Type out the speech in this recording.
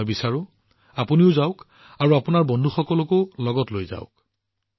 মই বিচাৰো যে আপোনালোক নিজে তালৈ যাওক আৰু আপোনালোকৰ বন্ধুবৰ্গকো লগত লৈ যাওক